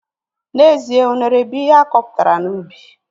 N'ezie, unere bụ ihe akọpụtara n'ubi